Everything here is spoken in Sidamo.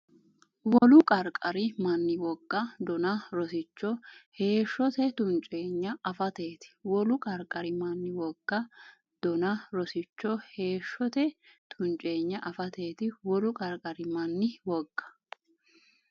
Wolu qarqari manni woga, dona, rosicho, heeshshote tunceenya afateeti Wolu qarqari manni woga, dona, rosicho, heeshshote tunceenya afateeti Wolu qarqari manni woga,.